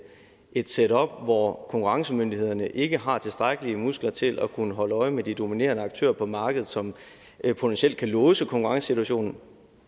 et setup hvor konkurrencemyndighederne ikke har tilstrækkelige muskler til at kunne holde øje med de dominerende aktører på markedet som potentielt kan låse konkurrencesituationen